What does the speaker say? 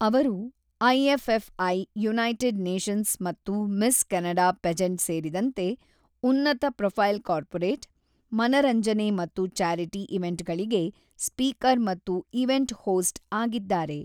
ಅವರು IFFA, United Nations ಮತ್ತು Miss Canada pageant ಸೇರಿದಂತೆ ಉನ್ನತ-ಪ್ರೊಫೈಲ್ ಕಾರ್ಪೊರೇಟ್, ಮನರಂಜನೆ ಮತ್ತು ಚಾರಿಟಿ ಈವೆಂಟ್‌ಗಳಿಗೆ ಸ್ಪೀಕರ್ ಮತ್ತು ಈವೆಂಟ್ ಹೋಸ್ಟ್ ಆಗಿದ್ದಾರೆ.